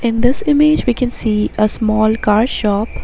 In this image we can see a small car shop.